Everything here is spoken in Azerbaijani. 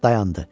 Dayandı.